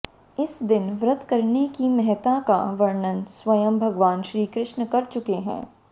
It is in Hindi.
इस दिन व्रत करने की महत्ता का वर्णन स्वयं भगवान श्रीकृष्ण कर चुके हैं